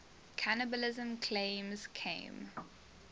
cannibalism claims came